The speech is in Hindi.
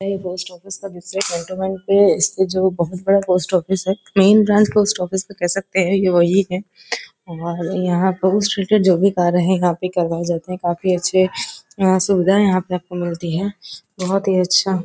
यह पोस्ट ऑफिस का दूसरा पे इससे जो बहोत बडा पोस्ट ऑफिस है मेन ब्रांच इस ऑफिस को कह सकते हैं यह वही है और यहां पर उससे रिलेटेड जो भी कार्य है यहां पर करवाए जाते हैं। काफी अच्छे यहां सुविधा यहां आपको मिलती हैं बहोत ही अच्छा --